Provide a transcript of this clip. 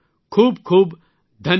ખૂબ ખૂબ ધન્યવાદ